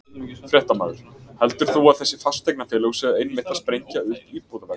Fréttamaður: Heldur þú að þessi fasteignafélög séu einmitt að sprengja upp íbúðaverð?